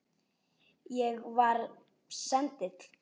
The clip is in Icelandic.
Ég. ég var sendill